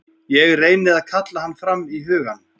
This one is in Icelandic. Ég reyni að kalla hann fram í hugann.